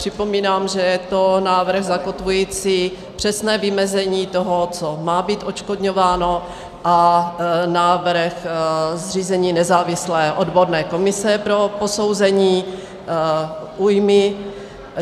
Připomínám, že je to návrh zakotvující přesné vymezení toho, co má být odškodňováno, a návrh zřízení nezávislé odborné komise pro posouzení újmy.